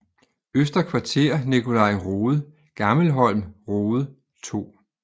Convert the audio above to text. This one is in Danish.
Øster Kvarter Nicolai Rode Gammelholm Rode 2